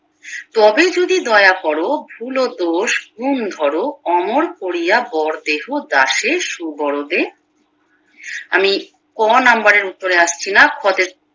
তবে যদি দোয়া করে ভুল ও দোষ গুন্ ধরো অমর কোরিয়া বর দেহ দাসে সুবোরোদে আমি ক নাম্বারের উত্তরে আসছি না খ তে